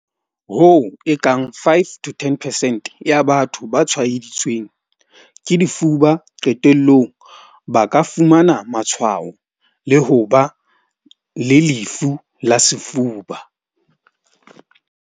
Hoo e kang five to ten percent ya batho ba tshwaeditseng ke difuba, qetellong ba ka fumana matshwao le ho ba le lefu la sefuba.